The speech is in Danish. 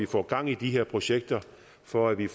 få gang i de her projekter for at vi